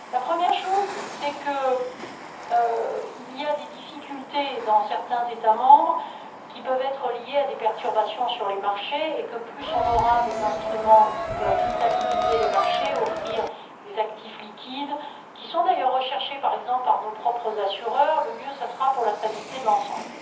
Première chose, il y a des difficultés dans certains États membres, qui peuvent être liées à des perturbations sur les marchés et plus on disposera d'instruments qui peuvent stabiliser les marchés et offrir des actifs liquides d'ailleurs, recherchés, par exemple, par nos propres assureurs et mieux ça sera pour la stabilité de l'ensemble.